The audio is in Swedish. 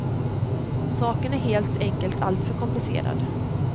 Saken är helt enkelt alltför komplicerad.